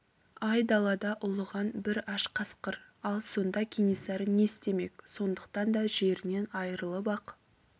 ай далада ұлыған бір аш қасқыр ал сонда кенесары не істемек сондықтан да жерінен айырылып ақ